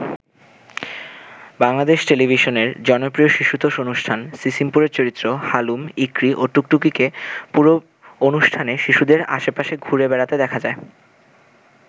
বাংলাদেশ টেলিভিশনের জনপ্রিয় শিশুতোষ অনুষ্ঠান সিসিমপুরের চরিত্র হালুম, ইকরি ও টুকটুকিকে পুরো অনুষ্ঠানে শিশুদের আশেপাশে ঘুরে বেড়াতে দেখা যায়।